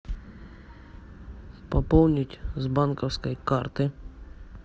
пополнить с банковской карты